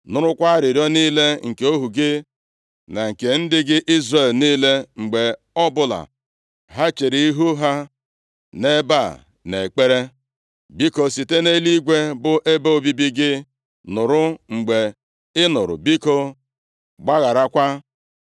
Nụrụkwa arịrịọ niile nke ohu gị na nke ndị gị Izrel niile, mgbe ọbụla ha chere ihu ha nʼebe a nʼekpere. Biko, site nʼeluigwe bụ ebe obibi gị nụrụ, mgbe ị nụrụ biko, gbagharakwa.